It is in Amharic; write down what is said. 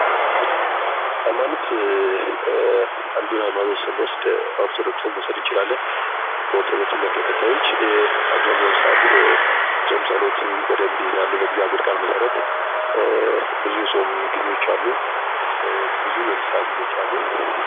ሃይማኖት፦ አንዱን ሐይማኖት ስንወስድ ኦርቶዶክስን መውሰድ እንችላለን። በኦርቶዶክስ እምነት ተከታዮች አብዛኛውን ሰአት ጾም ጸሎት በደንብ ይይዛሉ በእግዚአብሔር ቃል መሠረት ብዙ የጾም ጊዜዎች አሉ ብዙም የንስሐ ጊዜዎች አሉ።